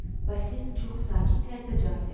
Basil çox sakit tərzdə cavab verdi.